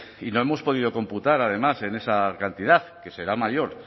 y no hemos podido computar además en esa cantidad que será mayor